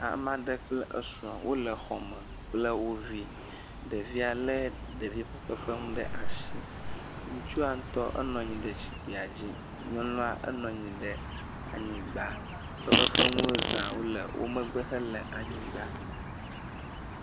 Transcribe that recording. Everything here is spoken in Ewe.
Ame aɖe kple srɔ̃ wole xɔ me kple wo vi, ɖevia lé ɖevi ƒe fefefenu ɖe asi, ŋutsua ŋutɔ, enɔ anyi ɖe zikpuia dzi, nyɔnua enɔ anyi ɖe anyigba, fefefenuwo za wole wo megbe hele anyigba,